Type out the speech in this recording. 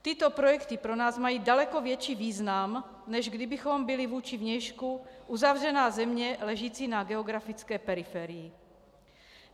Tyto projekty pro nás mají daleko větší význam, než kdybychom byli vůči vnějšku uzavřená země ležící na geografické periferii.